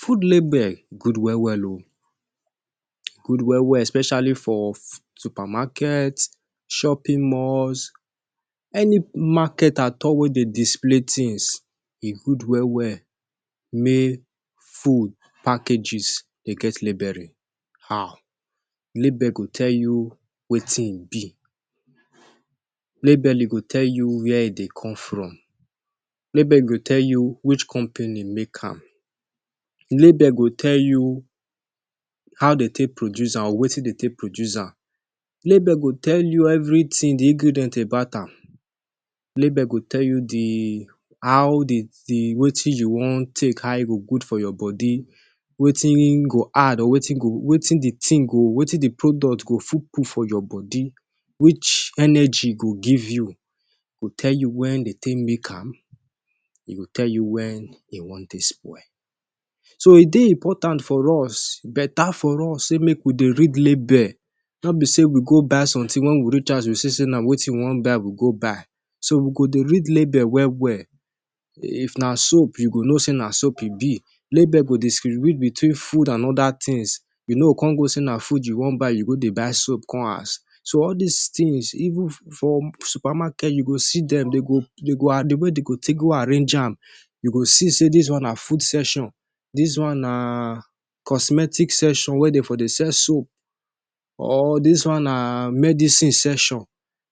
Food label good well well o. E good well well especially for supermarket, shopping malls, any market at all wey dey display tins. E good well well make food packages de get label. How? label go tell you wetin im be. Label go tell you wia e dey come from. Label go tell you which company make am. Label go tell you how dem take produce am, wetin dem take produce am. Label go tell you evritin, di ingredients about am. Label go tell you how di wetin you wan take, how e go good for your body, wetin im go add, wetin di product go fit put for your body, which energy e go give you. E go tell you wen dem take make am. E go tell you wen wan take spoil. So, e dey important for us, betta for us, make we dey read label. No be say we go buy somtin, wey wen we reach house we go see say no be wetin we wan buy we buy. So we go dey read label well well. If na soap, you go know say na soap e be. Label go help you distribute between food and oda tins. You no go come think say na food you wan buy, you come go buy soap carry come house. So all dis tins, even for supermarkets, you go see dem. Di way dem go arrange am, you go see say: dis one na food section, dis one na cosmetics section wey dey for soap, or dis one na medicine section.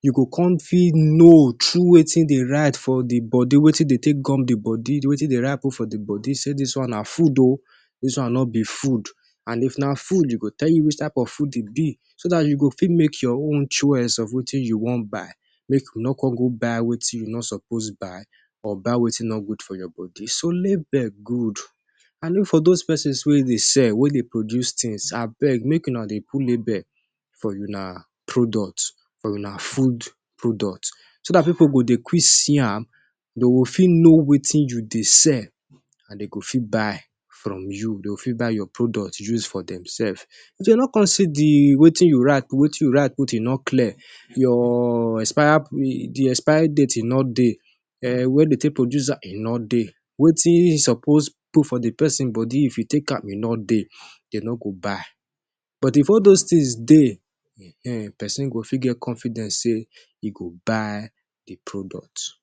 You go fit know through wetin dem write for di body, wetin dem gum for di body. Wetin dem write for di body go tell you: dis one na food oh, dis one no be food. If na food, e go tell you which type of food e be, so dat you fit make your own choice of wetin you wan buy. Make you no come buy wetin you no suppose buy or buy wetin no good for your body. So, label good and den For dose pesins wey dey sell, wey dey produce tins, abeg, make una dey put label for una product, for una food product, so dat pipu go dey quick see am. Dem go fit know wetin you dey sell and dem go fit buy from you. Dem go fit buy your product use for demselves. If dem no come see di wetin you write, if wetin you write no clear, your expiry date e no dey, wen dem take produce am e no dey, wetin e suppose put for di pesin body if e take am e no dey, dem no go buy. But if all dose tins dey,[um]pesin go fit get confidence say e go buy di product.